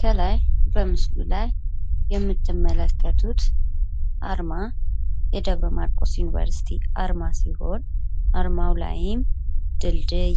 ከላይ በምስሉ ላይ የምትመለከቱት አርማ የደብረ ማርቆስ ዩኒቨርሲቲ አርማ ሲሆን አርማው ላይም ድልድይ